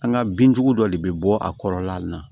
An ka bin jugu dɔ de bɛ bɔ a kɔrɔla la